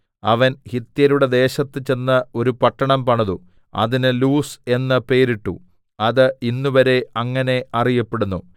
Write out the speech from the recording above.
അവൻ ഹിത്യരുടെ ദേശത്ത് ചെന്ന് ഒരു പട്ടണം പണിതു അതിന് ലൂസ് എന്ന് പേരിട്ടു അത് ഇന്നുവരെ അങ്ങനെ അറിയപ്പെടുന്നു